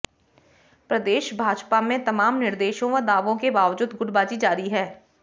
प्रदेश भाजपा में तमाम निर्देशों व दावों के बावजूद गुटबाजी जारी है